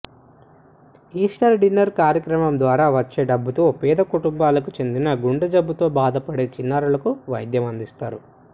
ఈస్టార్ dinner కార్యక్రమం ద్వారా వచ్చే డబ్బుతో పేద కుటుంబాలకు చెందిన గుండెజబ్బుతో బాధపడే చిన్నారులకు వైద్యం అందిస్తారు